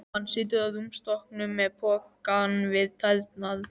Hann situr á rúmstokknum með pokann við tærnar.